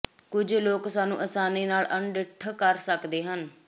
ਕੁਝ ਲੋਕ ਇਸਨੂੰ ਅਸਾਨੀ ਨਾਲ ਅਣਡਿੱਠ ਕਰ ਸਕਦੇ ਹਨ